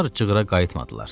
Onlar cığra qayıtmadılar.